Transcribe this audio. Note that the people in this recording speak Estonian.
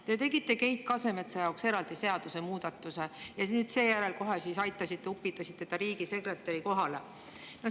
Te tegite Keit Kasemetsa jaoks eraldi seadusemuudatuse ja seejärel kohe aitasite, upitasite ta riigisekretäri kohale.